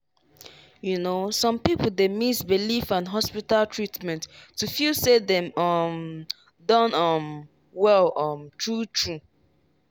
you know some people dey mix belief and hospital treatment to feel say dem um don um well um true true.